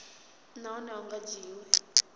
nahone a hu nga dzhiwi